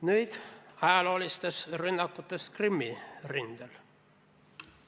Nüüd ajaloolistest rünnakutest Krimmi rindel.